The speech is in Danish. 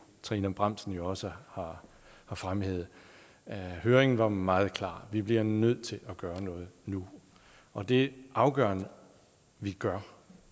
trine bramsen også har fremhævet høringen var meget klar vi bliver nødt til at gøre noget nu og det afgørende vi gør